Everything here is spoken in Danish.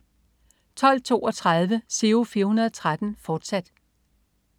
12.32 Giro 413, fortsat